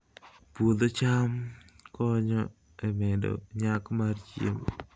Puodho cham konyo e medo nyak mar chiemo